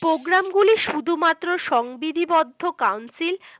program গুলি শুধুমাত্র সংবিধিবদ্ধ council